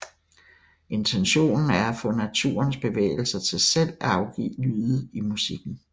Intentionen er at få naturens bevægelser til selv at afgive lyde i musikken